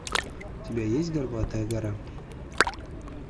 у тебя есть горбатая гора